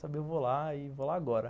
Saber eu vou lá e vou lá agora.